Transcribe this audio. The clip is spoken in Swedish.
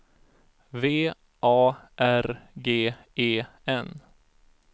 V A R G E N